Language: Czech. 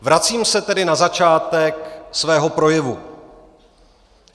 Vracím se tedy na začátek svého projevu.